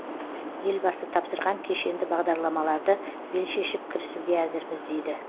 елбасы тапсырған кешенді бағдарламаларды бел шешіп кірісуге әзірміз дейді